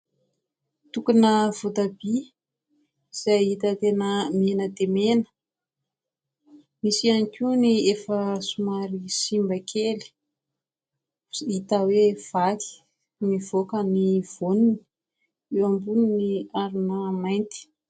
Tokona voatabia izay hita tena mena dia mena. Misy ihany koa ny efa somary simba kely, hita hoe vaky, mivoaka ny voany. Eo ambonin'ny harona mainty.